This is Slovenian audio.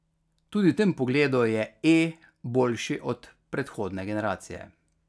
Tudi v tem pogledu je E boljši od predhodne generacije.